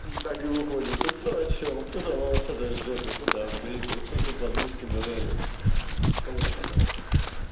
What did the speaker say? так и выходит что кто о чём кто-то о волосатой жопе кто-то о бритве кто за подмышки базарит кому-то пожрать охота